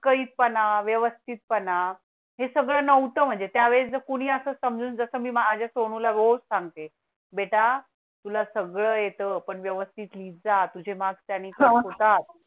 विस्कळीतपणा, व्यवस्थितपणा हे सगळं नव्हतं म्हणजे त्यावेळी कुणी असं समजून जसं मी माझ्या सोनू लाग रोज सांगते बेटा तुला सगळं येतो पण व्यवस्थित लिहित जा तुझे मार्क्स त्याने कट होतात